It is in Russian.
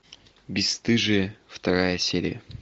бесстыжие вторая серия